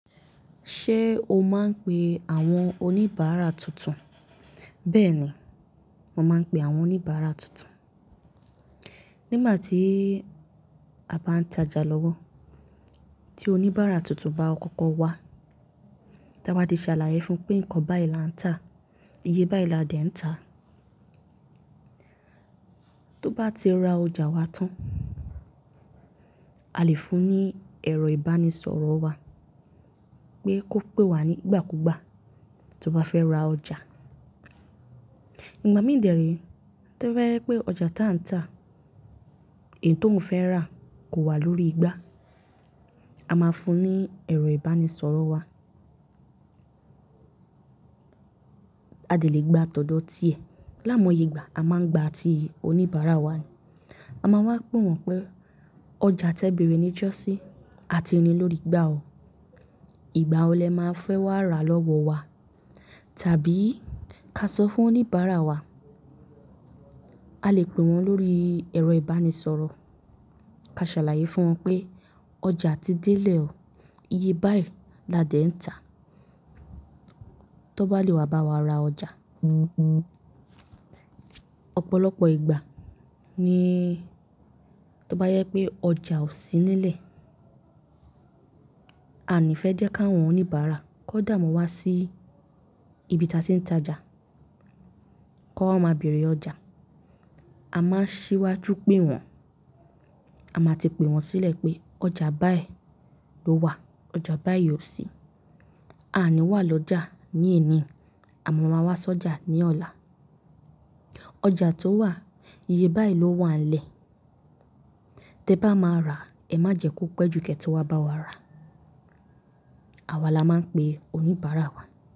Ṣé o máa ń pe àwọn oníbàárà tuntun? Bẹ́ẹ̀ni, mo máa ń pe àwọn oníbàárà tuntun. Nígbà tí a bá ń tajà lọ́wọ́ tí oníbàárà tuntun bá kọ́kọ́ wá, tí a bá di ṣàlàyé fún pé nǹkan báyiì la ń tà, iye báyiì la dẹ̀ ń tà. Tó bá ti ra ọjà wa tán, a lè fún un ní ẹ̀rọ ìbánisọ̀rọ̀ wa pé kó pè wá nígbàkúgbà tó bá fẹ́ ra ọjà. Ìgbà mí dẹ̀rí tó bá yẹ pé ọjà tán tà, èyí tó mo fẹ́ rà kò wà lórí igbá, a máa fún ní ẹ̀rọ ìbánisọ̀rọ̀ wa. A lè gbà ti ọ̀dọ̀ ti ẹ̀. Lái mo yé ìgbà a máa ń gbà ti oníbàárà wa ni. A máa wá pe wọ́n pé ọjà tẹ bẹ̀rẹ̀ níjọ́sín, a ti ni lórí igbá o. Ìgbà wo lẹ máa fẹ́ wá ra lọ́wọ́ wa? Tàbí ká sọ fún oníbàárà wa, a lè pè wọ́n lórí ẹ̀rọ ìbánisọ̀rọ̀ ká ṣàlàyé fún wọn pé ọjà ti délẹ̀ o, iye báyiì la dẹ̀ ń tà. Tó bá lè wá bá wa ra ọjà. Ọ̀pọ̀lọpọ̀ ìgbà ní tó bá jẹ pé ọjà ò sí nílẹ̀, a ní fẹ́ jẹ́ ki awọn oníbàárà kó dààmú wá sí ibi tí a tì ń tajà kó wa máa bẹ̀rẹ̀ ọjà. A máa ń ṣíwájú pé wọ́n. A máa ti pe wọ́n sílẹ̀ pé ọjà báyiì ló wà, ọjà báyiì ò sí. A ní wà lọ́jà ní èní àmọ́ máa wá sọ́jà ní ọ̀la. Ọjà tó wà, iye báyiì ló wà nílẹ̀. Tẹ bá máa rà ẹ má jẹ kó pẹ́ ju kẹ̀ tí wá bá wa rà. Àwa la máa ń pe oníbàárà wa.